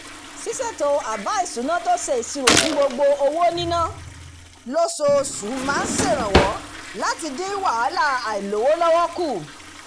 ṣíṣètò àbá ìṣúná tó ṣe ìṣirò fún gbogbo owó níná lóṣooṣù máa ń ṣèrànwọ́ láti dín wàhálà àìlówó lọ́wọ́ kù